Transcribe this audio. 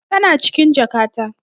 Tana cikin jakata.